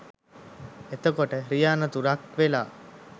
එතකොට රිය අනතුරක් වෙලා